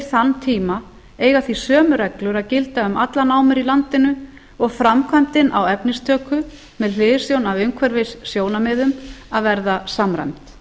þann tíma eiga því sömu reglur að gilda um allar námur í landinu og framkvæmdin á efnistöku með hliðsjón af umhverfissjónarmiðum að verða samræmd